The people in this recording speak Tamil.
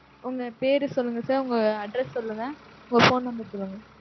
உங்க பேரு சொல்லுங்க sir. உங்களோட address சொல்லுங்க. உங்க phone number சொல்லுங்க.